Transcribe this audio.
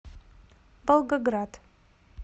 волгоград